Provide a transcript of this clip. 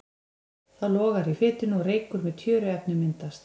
Þá logar í fitunni og reykur með tjöruefnum myndast.